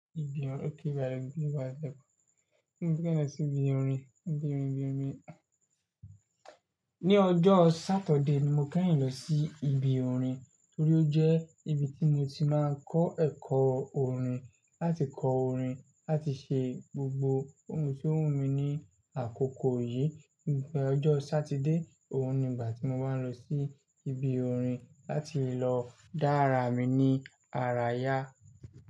Mo fẹ́ lọ sí ibi orin, ibi orin, ibi orin. Ni ọjọ́ Sáturday ni mo keyin lọ sí ibi orin torí ó jẹ́ ibi tí mo ti máa ń kọ́ ẹ̀kọ́ orin, láti kọ orin, láti ṣe gbogbo ohun tó wù mí ní àkókò yìí. Ni ọjọ́ Sátidé, òun ni ìgbà tí mo máa ń lọ sí ibi orin láti lọ dá ara mi ní ara yá.